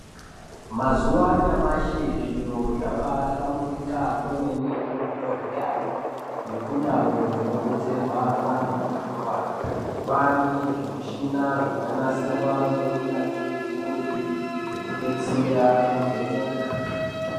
Mazuwa anyamashi zviro zvabaa hlamburika kwemene kuzvibhedhleyayo nekundau dzinobetserwa antu anorwara. Kwaane zvimushina zvakanasirwa ngeunyanzvi ukurutu zvokubetsera kuvheneka.